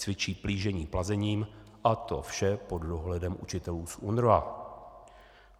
cvičí plížení plazením, a to vše pod dohledem učitelů z UNRWA.